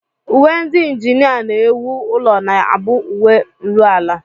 Uwe ndị njinịa na-ewu ụlọ na-abụ uwe nruala